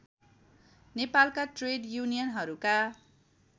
नेपालका ट्रेड युनियनहरूका